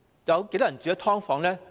有多少人住在"劏房"？